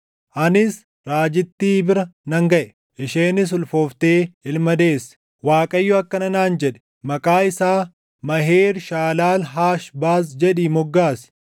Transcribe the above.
Anis raajittii bira nan gaʼe; isheenis ulfooftee ilma deesse. Waaqayyo akkana naan jedhe; “Maqaa isaa Maheer-Shaalaal-Haash-Baaz jedhii moggaasi.